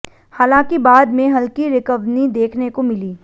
हालांकि बाद में हल्की रिकवनी देखने को मिली